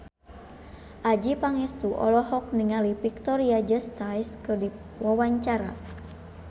Adjie Pangestu olohok ningali Victoria Justice keur diwawancara